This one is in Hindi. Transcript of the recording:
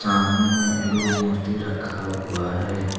सामने में एगो मूर्ति रखा हुआ है।